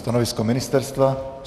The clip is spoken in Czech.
Stanovisko ministerstva?